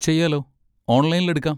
ചെയ്യാലോ, ഓൺലൈനിൽ എടുക്കാം.